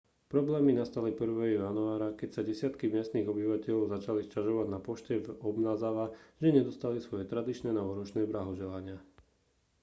problémy nastali 1. januára keď sa desiatky miestnych obyvateľov začali sťažovať na pošte v obanazawa že nedostali svoje tradičné novoročné blahoželania